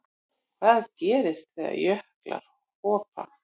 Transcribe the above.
Hvað gerist þegar jöklar hopa?